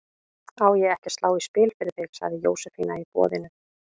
Á ég ekki að slá í spil fyrir þig? sagði Jósefína í boðinu.